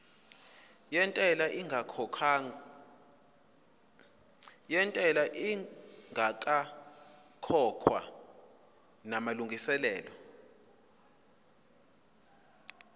yentela ingakakhokhwa namalungiselo